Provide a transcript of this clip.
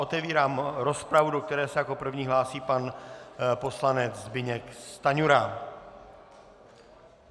Otevírám rozpravu, do které se jako první hlásí pan poslanec Zbyněk Stanjura.